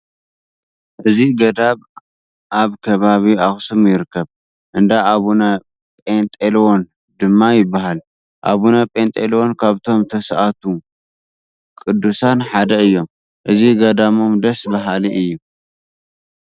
እዚ ገዳም ኣብ ከባቢ ኣኽሱም ይርከብ፡፡ እንዳ ኣቡነ ጰንጠሌዎን ድማ ይበሃል፡፡ ኣቡነ ጰንጠሌዎን ካብቶም ተስኣቱ ቅዱሳን ሓደ እዮም፡፡ እዚ ገዳሞም ደስ በሃሊ እዩ፡፡